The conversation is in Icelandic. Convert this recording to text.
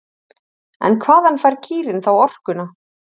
En hvaðan fær kýrin þá orkuna?